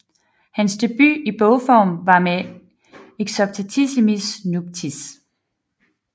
Hans debut i bogform var med Exoptatissimis nuptiis